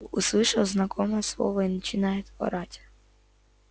услышал знакомое слово и начинает орать